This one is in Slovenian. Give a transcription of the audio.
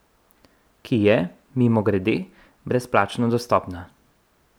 Ki je, mimogrede, brezplačno dostopna.